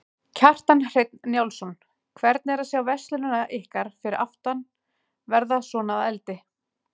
Kjartan Hreinn Njálsson: Hvernig er að sjá verslunina ykkar fyrir aftan verða svona að eldi?